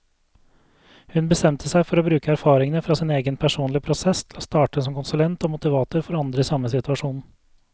Hun bestemte seg for å bruke erfaringene fra sin egen personlige prosess til å starte som konsulent og motivator for andre i samme situasjon.